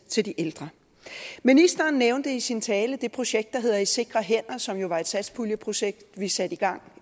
til de ældre ministeren nævnte i sin tale det projekt der hedder i sikre hænder som jo var et satspuljeprojekt vi satte i gang